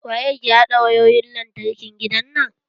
Waye ke haɗa wayoyin lantarkin gidan nan?